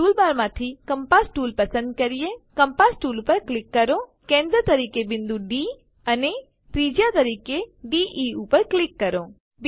ચાલો ટૂલબારમાંથી compass tool પસંદ કરીએ કમ્પાસ ટૂલ પર ક્લિક કરો કેન્દ્ર તરીકે બિંદુ ડી અને ત્રિજ્યા તરીકે દે ઉપર ક્લિક કરો